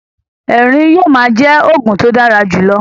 Ẹrín yóò ma jẹ oògùn to dára jùlọ